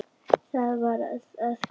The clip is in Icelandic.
Þetta varð að gerast.